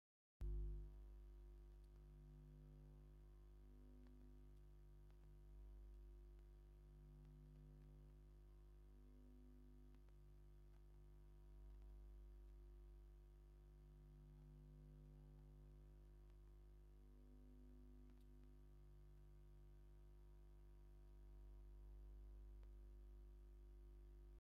ክልተ ኢትዮጵያውያን ኣትሌታት ሂርፓን ገመቹን ኣብ ውድድር ማራቶን ዱባይ ብሉጽ ውጽኢት ድሕሪ ምምዝጋቦም ዓወቶምን ሓበንን የብዕሉ ከምዘለዉን፡ ባንዴራ ኢትዮጵያ ብምልባስ ድማ ሓጎሶም ይገልጹ ኣለዉ። እዚ ዓወት ኣብ ኢትዮጵያውያን ክንደይ ሓጎስን ሓበንን ፈጢሩ?